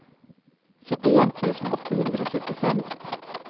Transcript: syttien tusen åtte hundre og syttifem